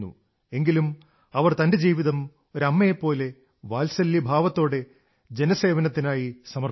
എങ്കിലും അവർ തന്റെ ജീവിതം ഒരു അമ്മയെപ്പോലെ വാത്സല്യഭാവത്തോടെ ജനസേവനത്താനായി സമർപ്പിച്ചു